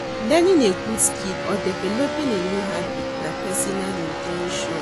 Learning a good skill or developing a new habit na pesinal in ten tion.